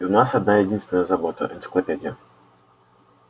и у нас одна единственная забота энциклопедия